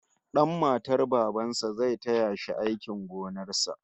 Dan matar baban sa zai taya shi aikin gonar sa